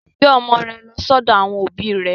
Gbé ọmọ rẹ lọ sọ́dọ̀ àwọn òbí rẹ.